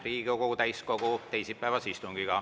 Alustame Riigikogu täiskogu teisipäevast istungit.